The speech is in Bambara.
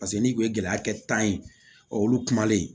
Paseke n'i kun ye gɛlɛya kɛ tan ye olu kumalen